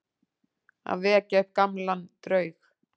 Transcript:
Að vekja upp gamlan draug